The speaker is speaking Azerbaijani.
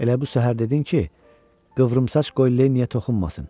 Elə bu səhər dedin ki, qıvrımsaç qoy Lenniyə toxunmasın.